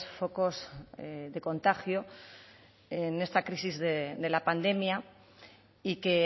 focos de contagio en esta crisis de la pandemia y que